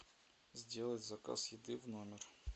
сделать заказ еды в номер